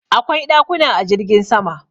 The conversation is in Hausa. Akwai dakuna a jirgin sama